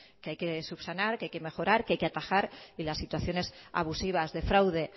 que hay que subsanar que hay que mejorar que hay que atajar y las situaciones abusivas de fraude